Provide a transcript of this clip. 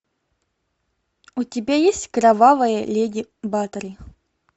у тебя есть кровавая леди батори